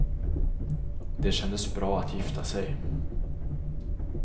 Det kändes bra att gifta sig.